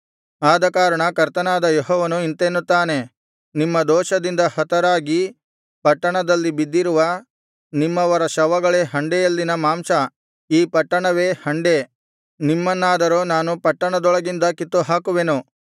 ಆದಕಾರಣ ಕರ್ತನಾದ ಯೆಹೋವನು ಇಂತೆನ್ನುತ್ತಾನೆ ನಿಮ್ಮ ದೋಷದಿಂದ ಹತರಾಗಿ ಪಟ್ಟಣದಲ್ಲಿ ಬಿದ್ದಿರುವ ನಿಮ್ಮವರ ಶವಗಳೇ ಹಂಡೆಯಲ್ಲಿನ ಮಾಂಸ ಈ ಪಟ್ಟಣವೇ ಹಂಡೆ ನಿಮ್ಮನ್ನಾದರೋ ನಾನು ಪಟ್ಟಣದೊಳಗಿಂದ ಕಿತ್ತುಹಾಕುವೆನು